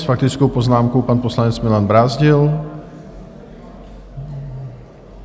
S faktickou poznámkou pan poslanec Milan Brázdil.